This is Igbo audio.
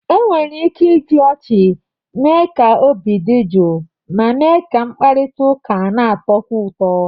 Enwere ike iji ọchị mee ka obi dị jụụ ma mee ka mkparịta ụka na-atọkwu ụtọ.